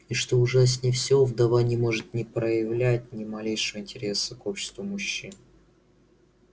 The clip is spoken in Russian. и что ужаснее всего вдова не может ни проявлять ни малейшего интереса к обществу мужчин